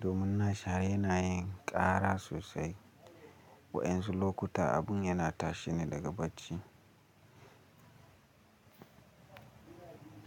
domin nashi yana yin ƙara sosai. Wa'yansu lokuta abun yana tashi ne daga bacci.